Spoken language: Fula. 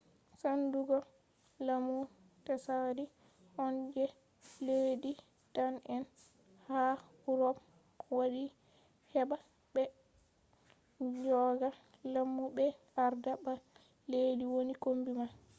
sendugo lamu tsaari on je leddi dane’en ha urop waddi heɓa ɓe joga lamu ɓe arda ba leddi woni kombi man